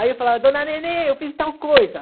Aí eu falava, dona Nenê, eu fiz tal coisa.